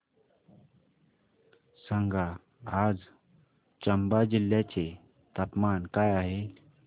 सांगा आज चंबा जिल्ह्याचे तापमान काय आहे